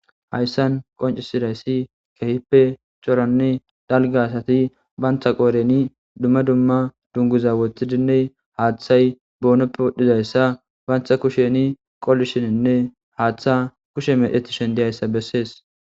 Haysan qonc'idaysi kehipe c'orane dalga asati banta qoreni duma duma dunguza wotidine hathay bonope wodhizaysa banta kusheni qolishinine hatha kushe mec'etishen diyaysa beses.